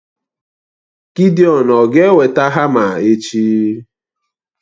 Gidiọn ọ̀ ga-eweta hama echi?